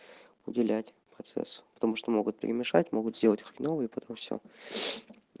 уделять процессу потому что могут перемешать могут сделать хреново и потом все